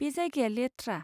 बे जायगाया लेथ्रा।